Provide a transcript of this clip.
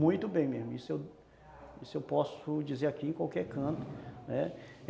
Muito bem mesmo, isso eu isso eu posso dizer aqui em qualquer canto, né.